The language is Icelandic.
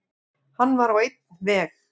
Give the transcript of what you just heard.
Hann var á einn veg.